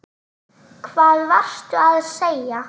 Hvað varstu að segja?